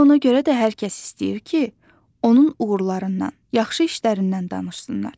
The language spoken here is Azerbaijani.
Elə ona görə də hər kəs istəyir ki, onun uğurlarından, yaxşı işlərindən danışsınlar.